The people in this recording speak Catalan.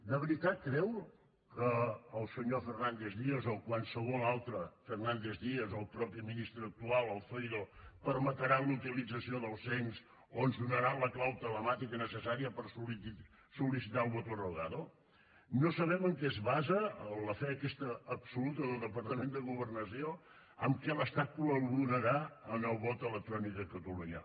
de veritat creu que el senyor fernández díaz o qualsevol altre fernández díaz o el mateix ministre actual el zoido permetran la utilització del cens o ens donaran la clau telemàtica necessària per sol·licitar el voto rogado no sabem en què es basa la fe aquesta absoluta del departament de governació que l’estat col·laborarà en el vot electrònic a catalunya